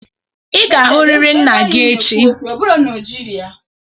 Ị ga-ahụrịrị nna gị echi!